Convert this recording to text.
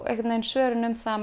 svörin um það að